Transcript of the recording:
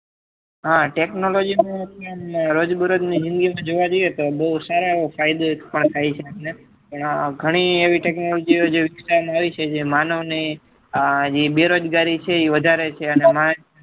હા technology નું રોજ બે રોજ ની જિંદગી માં જોવા જઈએ તો બહુ સારા એવા ફાયદા થાય છે અને ઘણી એવી technology જે વિસ્તાર માં આવી છે કે જે માનવ ને બેરોજગારી એ વધારે છે